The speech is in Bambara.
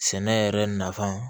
Sɛnɛ yɛrɛ nafa